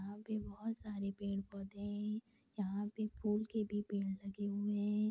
यहाँ पे बहुत सारे पेड़-पौधे हैं यहाँ पे फूल के भी पेड़ लगे हुए हैं।